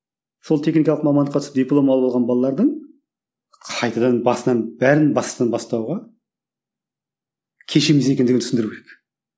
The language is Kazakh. сол техникалық мамандыққа түсіп диплом алып алған балалардың қайтадан басынан бәрінің басынан бастауға кеш емес екеніндігін түсіндіру керек